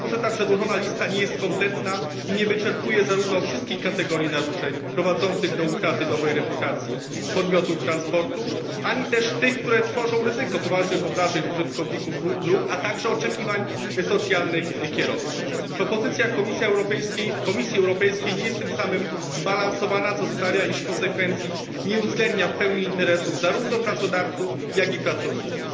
Dlatego, że przedłożona lista nie jest kompletna i nie wyczerpuje zarówno wszystkich kategorii naruszeń prowadzących do utraty dobrej reputacji podmiotów transportu, ani też tych, które tworzą ryzyko poważnych obrażeń użytkowników dróg, a także oczekiwań socjalnych kierowców. Propozycja Komisji Europejskiej nie jest tym samym zbalansowana, co sprawia, iż w konsekwencji nie uwzględnia interesów ani pracodawców, ani pracowników.